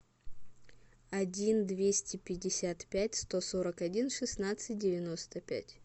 один двести пятьдесят пять сто сорок один шестнадцать девяносто пять